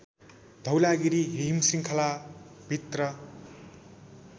धौलागिरी हिमश्रृङ्खला भित्र